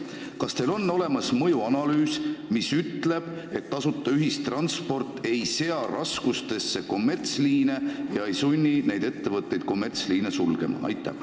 Kas teil on olemas mõjuanalüüs, mis ütleb, et tasuta ühistransport ei sea raskustesse kommertsliine ega sunni neid ettevõtteid kommertsliine sulgema?